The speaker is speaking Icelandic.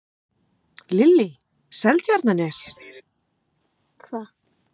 Lillý: Seltjarnarnes?